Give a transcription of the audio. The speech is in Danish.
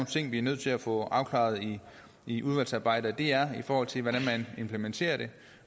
ting vi er nødt til at få afklaret i udvalgsarbejdet og det er i forhold til hvordan man implementerer det